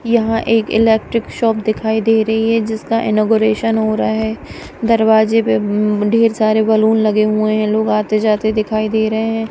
यह एक electric shop दिखाई दे रही है जिसका इनौगरेशन हो रहा है दरवाज़े पे अम ढेर सारे बलून लगे हुए हैं लोग आते जाते दिखाई दे रहे हैं।